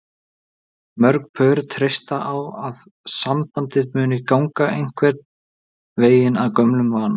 Mörg pör treysta á að sambandið muni ganga einhvern veginn af gömlum vana.